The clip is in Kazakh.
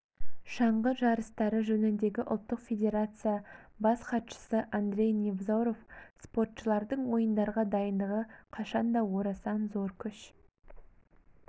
шаңғы жарыстары жөніндегі ұлттық федерация бас хатшысы андрей невзоров спортшылардың ойындарға дайындығы қашанда орасан зор күш